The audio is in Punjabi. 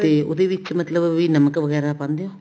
ਤੇ ਉਹਦੇ ਵਿੱਚ ਮਤਲਬ ਨਮਕ ਵਗੈਰਾ ਪਾਉਂਦੇ ਹੋ